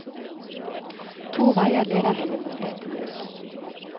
To veier leder henne mot dette mål.